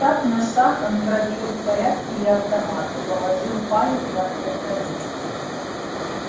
отстав на шаг он проверил в порядке ли автомат и положил палец на предохранитель